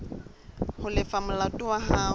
ho lefa molato wa hao